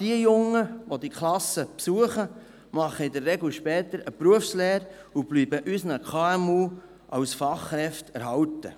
Die jungen Leute, die diese Klassen besuchen, machen in der Regel später eine Berufslehre und bleiben unseren KMU als Fachkräfte erhalten.